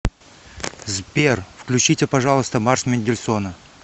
сбер включите пожалуйста марш мендельсона